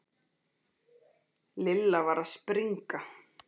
Lilla var að springa.